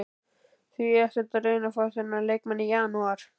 Því ekki að reyna að fá þennan leikmann í janúar?